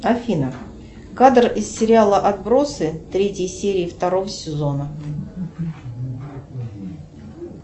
афина кадр из сериала отбросы третьей серии второго сезона